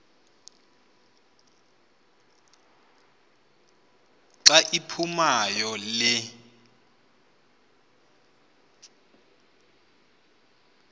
xa iphumayo le